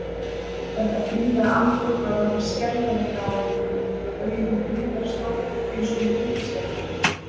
Þetta fríða andlit var orðið skelfilegt á að líta, augun gríðarstór eins og í útsel.